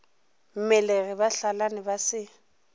mmelegi ba hlalane ba se